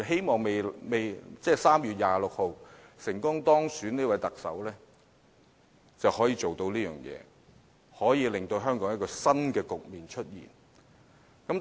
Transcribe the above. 我希望3月26日成功當選的特首可以做到這一點，令香港有新局面出現。